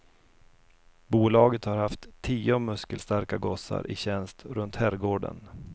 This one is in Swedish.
Bolaget har haft tio muskelstarka gossar i tjänst runt herrgården.